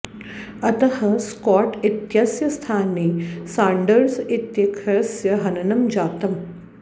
अतः स्कॉट् इत्यस्य स्थाने साण्डर्स् इत्याख्यस्य हननं जातम्